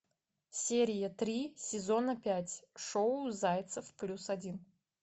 серия три сезона пять шоу зайцев плюс один